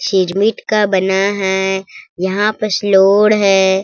सिरमिट का बना है यहाँ पर स्लोड़ है।